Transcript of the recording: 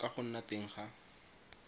ka go nna teng ga